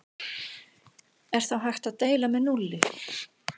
Er þá hægt að deila með núlli?